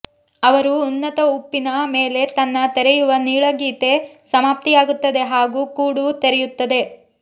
ಅವರು ಉನ್ನತ ಉಪ್ಪಿನ ಮೇಲೆ ತನ್ನ ತೆರೆಯುವ ನೀಳಗೀತೆ ಸಮಾಪ್ತಿಯಾಗುತ್ತದೆ ಹಾಗೂ ಕೂಡು ತೆರೆಯುತ್ತದೆ